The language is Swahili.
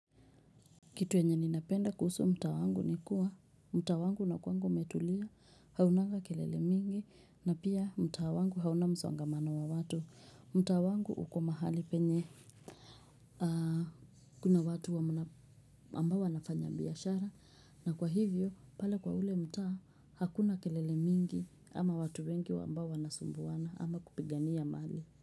Kitu enye ninapenda kuhusu mtaa wangu ni kuwa, mtaa wangu unakuwanga umetulia, haunanga kelele mingi, na pia mtaa wangu hauna msongamano wa watu. Mtaa wangu uko mahali penye kuna watu wa ambao wanafanya biashara, na kwa hivyo, pale kwa ule mtaa, hakuna kelele mingi, ama watu wengi wambao wanasumbuana, ama kupigania mali.